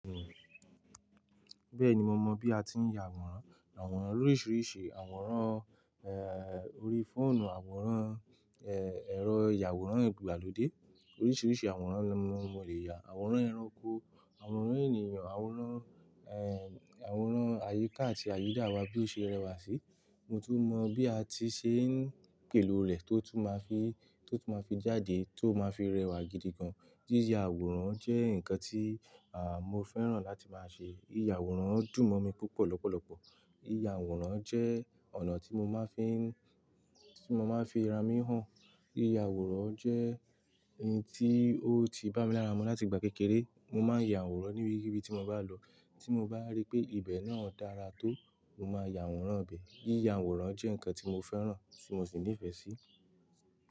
Bẹ́ẹ̀ni mo mọ bí a ti ń ya àwòrán, àwòrán loríṣìíríṣìí, àwòrán orí fóònù, àwòrán ẹ̀rọ ìyàwòrán ìgbàlódé, oríṣìíríṣìí àwòrán ni mo lè ya. Àwòrán ẹranko, àwòrán ènìyàn, àwòrán àwòrán àyíká àti àyída wa bí ó ṣe rẹwà sí. Mo tún mọ bí a ti ṣe ń pèlò rẹ̀ tó tún máa fi, tó tún máa fi jáde, tó máa fi rẹwà gidi gan. Yíya àwòrán jẹ́ ǹkan tí à mo fẹ́ràn láti máa ṣe. Yíya àwòrán dùn mọ́ mi púpọ̀ lọ́pọ̀lọpọ̀. Yíya àwòrán jẹ́ ọ̀nà tí mo máa ń fi ń, tí mo máa ń fi ara mi hàn. Yíya àwòrán jẹ́ in tí ó ti bá mi lára mú láti ìgbà kékeré. Mo máa ń ya àwòrán níbi kibi tí mo bá lọ. Tí mo bá rí pé ibẹ̀ náà dára tó, mo máa ya àwòrán ibẹ̀. Yíya àwòrán jẹ́ ǹkan tí mo fẹ́ràn tí mo sì nífẹ̀ẹ́ sí.